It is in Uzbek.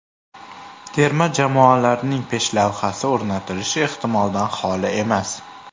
Terma jamoalarning peshlavhasi o‘rnatilishi ehtimoldan xoli emas.